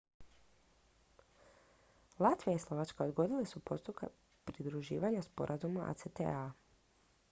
latvija i slovačka odgodile su postupak pridruživanja sporazumu acta